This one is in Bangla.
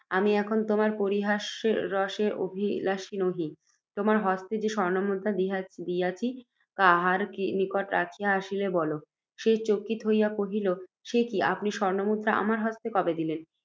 আমি এখন তোমার পরিহাস রসের অভিলাষী নহি, তোমার হস্তে যে স্বর্ণমুদ্রা দিয়াছি, কাহার নিকট রাখিয়া আসিলে, বল। সে চকিত হইয়া কহিল, সে কি, আপনি স্বর্ণমুদ্রা আমার হস্তে কবে দিলেন